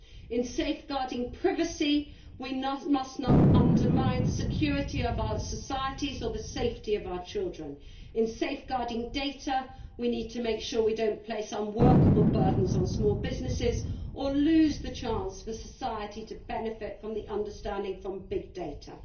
In safeguarding privacy we must not undermine the security of our societies or the safety of our children. In safeguarding data we need to make sure we do not place unworkable burdens on small businesses or lose the chance for society to benefit from the understanding from big data.